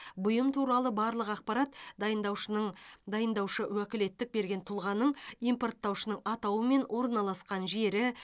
бұйым туралы барлық ақпарат дайындаушының дайындаушы уәкілеттік берген тұлғаның импорттаушының атауы мен орналасқан жері